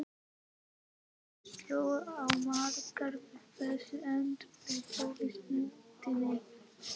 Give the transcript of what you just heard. Óhug sló á marga við þessi endurteknu ótíðindi.